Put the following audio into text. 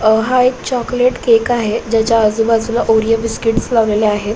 अ हा एक chocolate cake आहे ज्याच्या आजूबाजूला ओरिओ बिस्किटस लावलेले आहे.